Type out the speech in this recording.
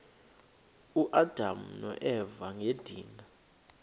uadam noeva ngedinga